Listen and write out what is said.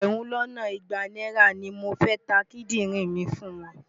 Ẹgbẹ̀rún lọ́nà igba náírà ni mo fẹ́ ta kídìrìn mi fún wọn.